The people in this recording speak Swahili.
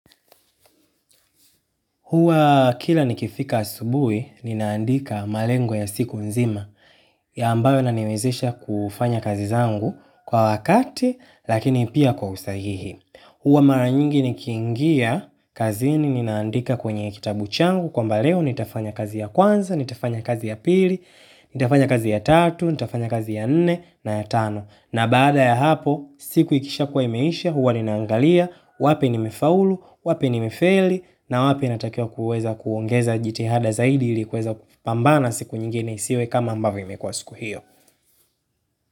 Huwa kila nikifika asubuhi ninaandika malengo ya siku nzima ambayo inaniwezesha kufanya kazi zangu kwa wakati lakini pia kwa usahihi. Huwa mara nyingi nikiingia kazini ninaandika kwenye kitabu changu, kwamba leo nitafanya kazi ya kwanza, nitafanya kazi ya pili, nitafanya kazi ya tatu, nitafanya kazi ya nne na ya tano. Na baada ya hapo, siku ikisha kuwa imeisha, huwa ninaangalia, wapi nimefaulu, wapi nimefeli, na wapi natakiwa kuweza kuongeza jitihada zaidi ilikuweza kupambana siku nyingine isiwe kama ambavyo imekuwa siku hiyo.